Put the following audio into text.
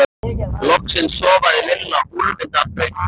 Loksins sofnaði Lilla úrvinda af þreytu.